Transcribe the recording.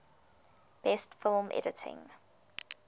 best film editing